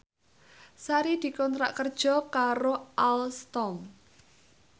Sari dikontrak kerja karo Alstom